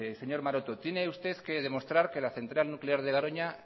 señor maroto tiene usted que demostrar que la central nuclear de garoña